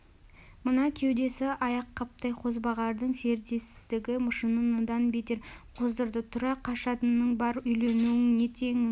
мына кеудесі аяққаптай қозбағардың зердесіздігі жынын одан бетер қоздырды тұра қашатының бар үйлену не теңің